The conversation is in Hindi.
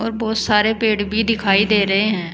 बहुत सारे पेड़ भी दिखाई दे रहे हैं।